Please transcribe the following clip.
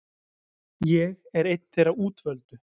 Ég er einn þeirra útvöldu.